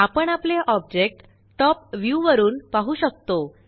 आपण आपले object top view वरुन पाहु शकतो